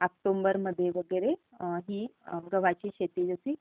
ऑक्टोबरमध्ये वगैरे ही गव्हाची शेती होते.